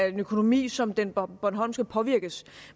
en økonomi som den bornholmske påvirkes